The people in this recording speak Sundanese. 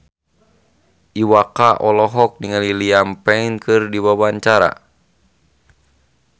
Iwa K olohok ningali Liam Payne keur diwawancara